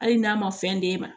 Hali n'a ma fɛn d'e ma